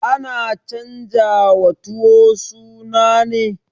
Ana canjawa tuwo suna ne?